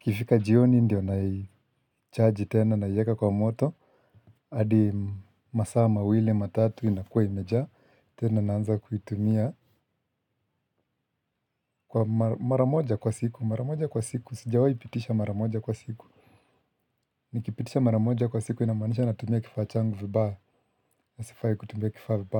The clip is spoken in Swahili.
ikifika jioni ndio naichaji tena naiweka kwa moto adi masaa mawili matatu inakua imejaa tena naanza kuitumia. Kwa maramoja kwa siku maramoja kwa siku sijawahi pitisha maramoja kwa siku. Nikipitisha maramoja kwa siku inamanisha natumia kifachangu vibaa na sifai kutumia kifaa vibaya.